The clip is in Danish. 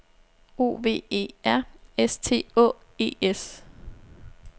O V E R S T Å E S